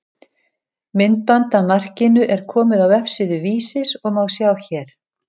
Myndband af markinu er komið á vefsíðu Vísis og má sjá hér.